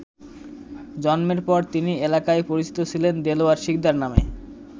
জন্মের পর তিনি এলাকায় পরিচিত ছিলেন দেলোয়ার শিকদার নামে।